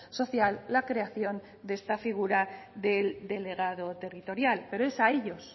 social la creación de este figura del delegado territorial pero es a ellos